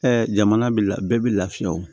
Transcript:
jamana bi la bɛɛ bɛ lafiya o